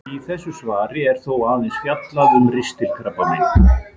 Í þessu svari er þó aðeins fjallað um ristilkrabbamein.